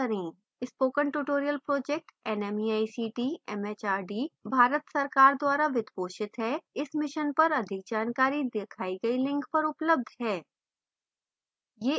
spoken tutorial project nmeict mhrd Bharat सरकार द्वारा वित्त पोषित है इस mission पर अधिक जानकारी दिखाई गई link पर उपलब्ध है